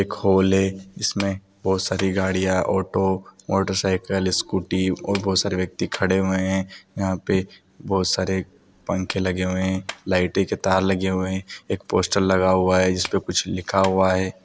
एक हल है जिसमे बोहोत सारी गरिया ऑटो मोटरसाइकिल स्कूटी ओर बोहोत सारे ब्यक्ति खरे हुए है यहा पे बोहउत सारे पंखे लगे हुए है लाइट के तर लगे हुए है एक पोस्टर लगा हुआ है इसपे कुछ लिखा हुआ है।